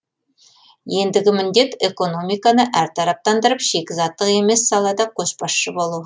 ендігі міндет экономиканы әртараптандырып шикізаттық емес салада көшбасшы болу